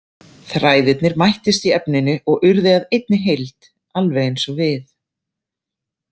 Þræðirnir mættust í efninu og urðu að einni heild, alveg eins og við.